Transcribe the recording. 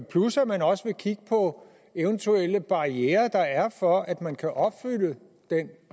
plus at man også vil kigge på eventuelle barrierer der er for at man kan opfylde den